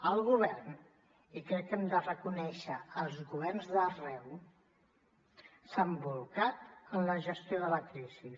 el govern i crec que hem de reconèixer als governs d’arreu s’ha bolcat en la gestió de la crisi